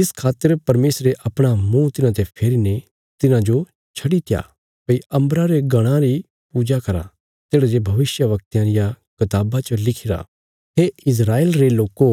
इस खातर परमेशरे अपणा मुँह तिन्हांते फेरीने तिन्हांजो छड़ीत्या भई अम्बरा रे गणां री पूजा करा तेढ़ा जे भविष्यवक्तयां रिया कताबा च लिखिरा हे इस्राएल रे लोको